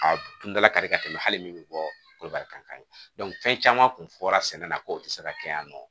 A kun dala ka di ka tɛmɛ hali min bɛ bɔ korokara kan fɛn caman kun fɔra sɛnɛ na ko o tɛ se ka kɛ yan nɔ